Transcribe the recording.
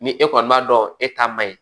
Ni e kɔni b'a dɔn e ta man ɲi